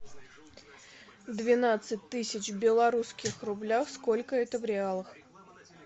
двенадцать тысяч в белорусских рублях сколько это в реалах